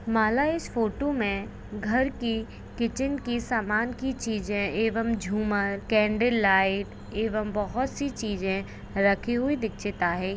माला इस फोटो मे घर की किचन की समान की छीजे एवम झूमर कॅनडल लाइट एवम बहुत सी चीजें राखी हुई दिखशिता है।